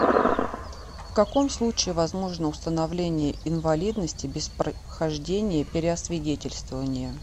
в каком случае возможно установление инвалидности без прохождения переосвидетельствования